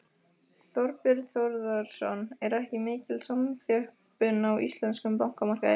Þorbjörn Þórðarson: Er ekki mikil samþjöppun á íslenskum bankamarkaði?